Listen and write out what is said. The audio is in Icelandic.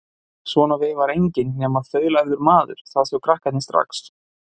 Svona veifar enginn nema þaulæfður maður, það sjá krakkarnir strax.